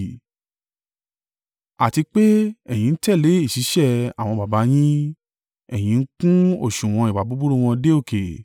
Àti pé, ẹ̀yin ń tẹ̀lé ìṣísẹ̀ àwọn baba yín. Ẹ̀yin ń kún òsùwọ̀n ìwà búburú wọn dé òkè.